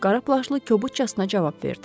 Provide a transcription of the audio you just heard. qara plaşlı kobudcasına cavab verdi.